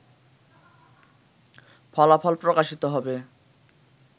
ফলাফল প্রকাশিত হবে